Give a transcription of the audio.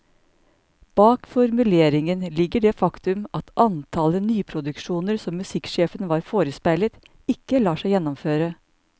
Bak formuleringen ligger det faktum at antallet nyproduksjoner som musikksjefen var forespeilet, ikke lar seg gjennomføre.